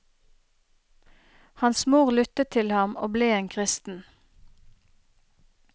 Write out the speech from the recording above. Hans mor lyttet til ham og ble en kristen.